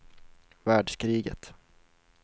världskriget